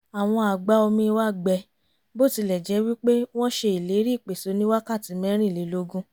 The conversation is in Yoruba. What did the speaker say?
àwọn àgbá-omi wa gbẹ bó tilẹ̀ jẹ́ wí pé wọ́n ṣe ìlérí ìpèsè oníwákàtí mẹ́rìnlélógún